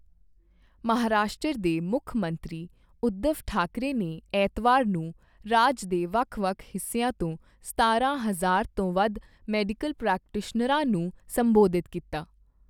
ਮਹਾਰਾਸ਼ਟਰ ਦੇ ਮੁੱਖ ਮੰਤਰੀ ਊਧਵ ਠਾਕਰੇ ਨੇ ਐਤਵਾਰ ਨੂੰ ਰਾਜ ਦੇ ਵੱਖ ਵੱਖ ਹਿੱਸਿਆਂ ਤੋਂ ਸਤਾਰਾਂ ਹਜ਼ਾਰ ਤੋਂ ਵੱਧ ਮੈਡੀਕਲ ਪ੍ਰੈਕਟੀਸ਼ਨਰਾਂ ਨੂੰ ਸੰਬੋਧਿਤ ਕੀਤਾ।